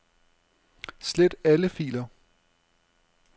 Slet alle filer.